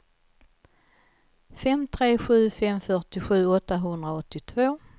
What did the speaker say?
fem tre sju fem fyrtiosju åttahundraåttiotvå